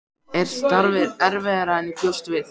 Er starfið erfiðara en ég bjóst við?